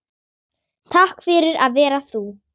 Takk fyrir að vera þú